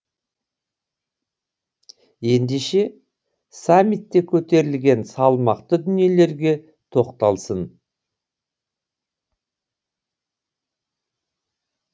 ендеше саммитте көтерілген салмақты дүниелерге тоқталсын